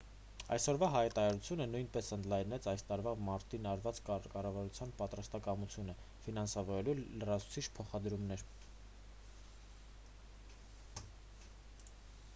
այսօրվա հայտարարությունը նույնպես ընդլայնեց այս տարվա մարտին արված կառավարության պատրաստակամությունը ֆինանսավորելու լրացուցիչ փոխադրումներ